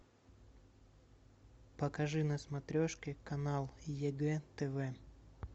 покажи на смотрешке канал егэ тв